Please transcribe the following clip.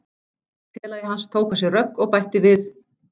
Félagi hans tók á sig rögg og bætti við: